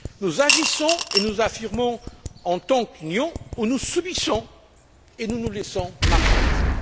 Nous agissons et nous nous affirmons en tant qu'Union, ou nous subissons et nous nous laissons marginaliser.